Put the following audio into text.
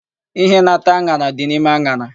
Íhé na-ata an̄ara dị n'ime an̄ara.